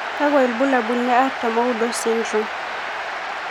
Kakwa ibulabul le artam oudo, XXXXX syndrome?